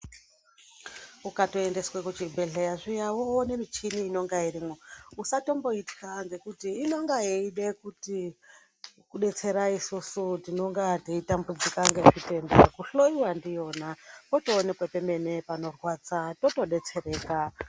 Ukatoendeswe kuchibhedhleya zviya woone michini inenga irimwo usatimboitya ngokuti inenga yeida kuti kudetsera isusu tinenga teitambudzika ngezvitenda kuhloyiwa ndiyona wotoonekwe pemene panorwadza wotodetsereka.